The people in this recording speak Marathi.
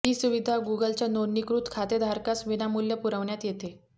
ही सुविधा गूगलच्या नोंदणीकृत खातेधारकास विनामूल्य पुरवण्यात येते